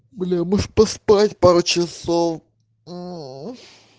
бля может поспать пару часов мм